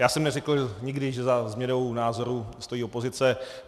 Já jsem neřekl nikdy, že za změnou názoru stojí opozice.